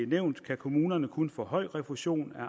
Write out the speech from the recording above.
nævnt kan kommunerne kun få den høje refusionssats af